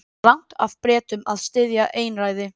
Rangt af Bretum að styðja einræði